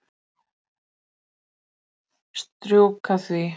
Strjúka því.